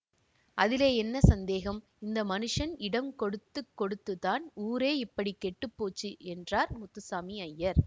அதிலே என்ன சந்தேகம் இந்த மனுஷன் இடங்கொடுத்துக் கொடுத்துத்தான் ஊரே இப்படி கெட்டு போச்சு என்றார் முத்துசாமி அய்யர்